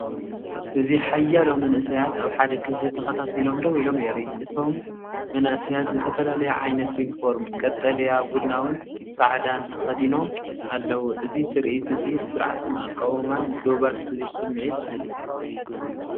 እዚ ሓያሎ መንእሰያት ኣብ ሓደ ክፍሊ ተኸታቲሎም ደው ኢሎም የርኢ። እቶም መንእሰያት ዝተፈላለየ ዓይነት ዩኒፎርም (ቀጠልያን ቡናዊን ጻዕዳን) ተኸዲኖም ኣለዉ። እዚ ትርኢት እዚ ስርዓትን ኣቃውማን ዶባትን ዝብል ስምዒት ይህብ።